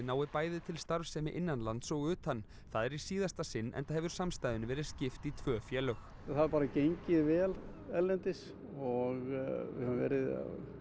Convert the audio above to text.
nái bæði til starfsemi innan lands og utan það er í síðasta sinn enda hefur samstæðunni verið skipt í tvö félög það hefur bara gengið vel erlendis og við höfum verið